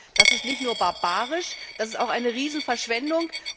Das ist nicht nur barbarisch, das ist auch eine Riesenverschwendung.